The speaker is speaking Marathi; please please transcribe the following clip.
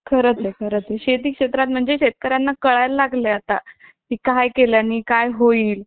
खरंच आहे खरंच आहे शेती क्षेत्रात म्हणजे शेतकऱ्यांना कळायला लागलं आहे आता ही काय केल्याने काय होईल